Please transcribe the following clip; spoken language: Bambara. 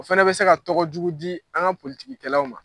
O fana bɛ se ka tɔgɔ jugu di an ka politigikɛlaw ma